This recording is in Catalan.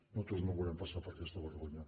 nosaltres no volem passar per aquesta vergonya